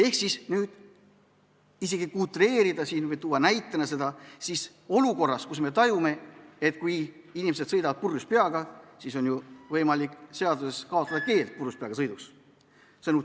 Kui tuua näide, siis võiks öelda, et olukorras, kus me tajume, et inimesed niikuinii sõidavad purjus peaga, on ju võimalik seaduses kaotada purjuspeaga sõidu keeld.